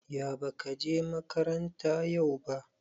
Ya bakaje makaranta yau ba